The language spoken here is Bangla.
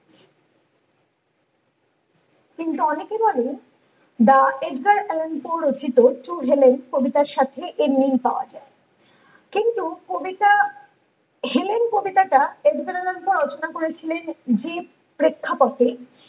কিন্তু অনেকে জানে রচিত কবিতার সাথে এর মিল পাওয়া যায় কিন্তু কবিতা হেন্ কবিতাটা জীবনানন্দ রচনা করেছিলেন যে প্রেক্ষাপটে